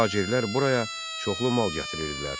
Tacirlər buraya çoxlu mal gətirirdilər.